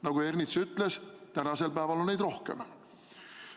" Nagu Ernits ütles, tänasel päeval on neid rohkem.